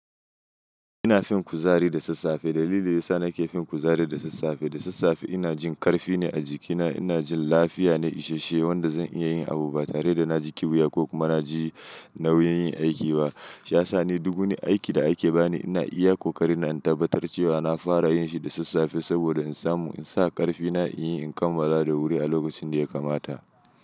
Ina fin kuzari da sassafe. Dalili yasa na ke fin kuzari da sassafe, da sassafe ina jin ƙarfi ne a jikina, ina jin lafiya ne isashe wanda zan iya yin abu ba tare da na ji ƙuya ko kuma na ji nauyin yin aiki ba. Shi ya sa ni duk wani aiki da ake bani ina iya ƙoƙari na in tabbatar cewa na fara yin shi da sassafe saboda in samu in sa ƙarfina in yi in kammala da wuri a lokacin da ya kamata.